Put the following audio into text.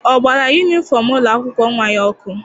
Ọ gbara yunifọm ụlọ akwụkwọ nwa ya ọkụ?